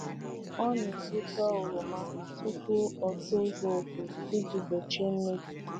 Ọ na-egbute oroma tupu o tozuo oke iji gbochie mmebi.